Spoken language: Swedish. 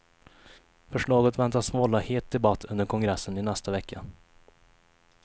Förslaget väntas vålla het debatt under kongressen i nästa vecka.